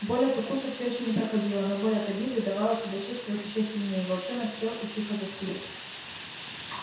боль от укуса всё ещё не проходила но боль от обиды давала себя чувствовать ещё сильнее и волчонок сел и тихо заскулил